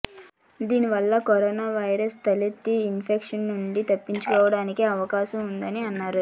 దీనివల్ల corona virus వల్ల తలెత్తే ఇన్ఫెక్షన్ నుంచి తప్పించుకోవడానికి అవకాశం ఉందని అన్నారు